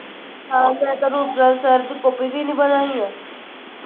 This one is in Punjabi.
ਹਾਂ ਮੈ ਤਾਂ ਰੂਪਲਾਲ sir copy ਵੀ ਨਹੀਂ ਬਣਾਇਆ